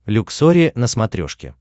люксори на смотрешке